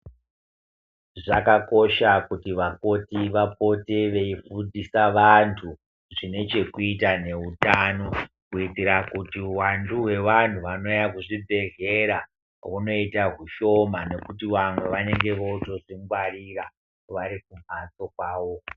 Zvakakosha kuti vakoti vapote veifundisa vantu zvinechekuita neutano kuitira kuti uwandu hwevanhu vanouya kuzvibhedhlera hunoita hushoma nekuti vamwe vanenge votozvingwarira varikumhatso kwavo.